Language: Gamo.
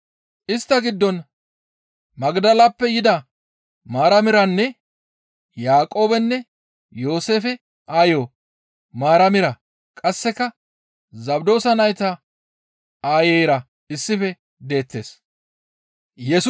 Istta giddon Magdaleppe yida Maaramiranne, Yaaqoobenne Yooseefe aayo Maaramira, qasseka Zabdoosa nayta aayeyra issife deettes.